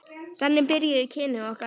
Þannig byrjuðu kynni okkar.